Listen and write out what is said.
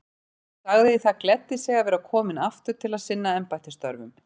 Hann sagði það gleddi sig að vera kominn aftur til að sinna embættisstörfum.